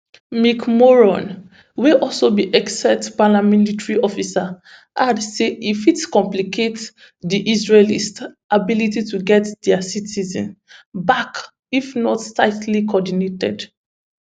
mick mulroy wey also be excia paramilitary officer add say e fit complicate di israelis ability to get dia citizens back if not tightly coordinated